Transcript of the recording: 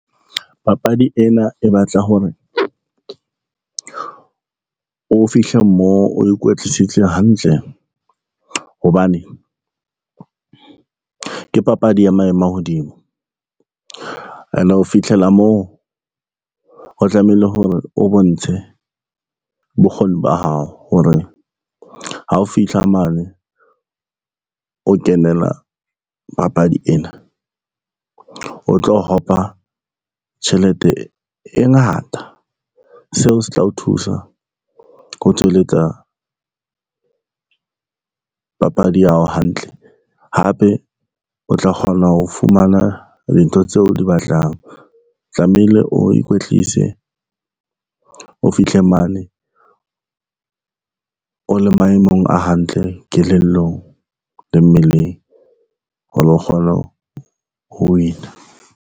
Papadi ena e batla hore, o fihle moo o ikwetlisitse hantle hobane ke papadi ya maemo a hodimo ene ho fitlhela moo ho tlamehile hore o bontshe bokgoni ba hao hore, ha o fihla mane o kenela papadi ena o tlo hopa tjhelete e ngata. Seo se tla o thusa ho tswelletsa papadi ya hao hantle, hape o tla kgona ho fumana dintho tseo o di batlang. O tlamehile o ikwetlise o fihle mane, o le maemong a hantle kelellong le mmeleng, hore o kgone ho win-a